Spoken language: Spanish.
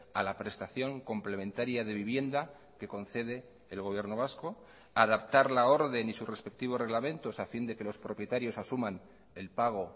a la prestación complementaria de vivienda que concede el gobierno vasco adaptar la orden y sus respectivos reglamentos a fin de que los propietarios asuman el pago